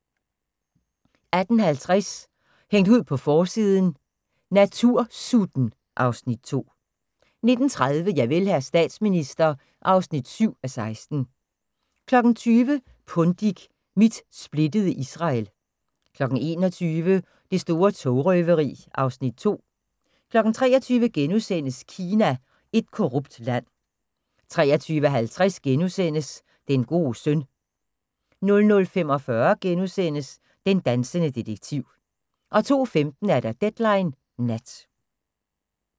18:50: Hængt ud på forsiden: Natursutten (Afs. 2) 19:30: Javel, hr. statsminister (7:16) 20:00: Pundik – Mit splittede Israel 21:00: Det store togrøveri (Afs. 2) 23:00: Kina – et korrupt land * 23:50: Den gode søn * 00:45: Den dansende detektiv * 02:15: Deadline Nat